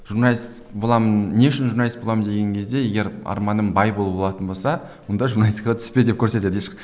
журналист боламын не үшін журналист боламын деген кезде егер арманым бай болу болатын болса онда журналистикаға түспе деп көрсетеді